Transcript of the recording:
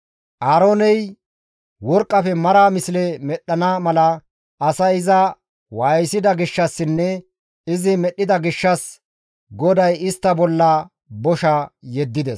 Aarooney worqqafe mara misle medhdhana mala asay iza waayisida gishshassinne izi medhdhida gishshas GODAY istta bolla bosha yeddides.